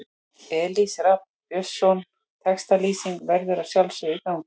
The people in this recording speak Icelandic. Elís Rafn Björnsson Textalýsing verður að sjálfsögðu í gangi.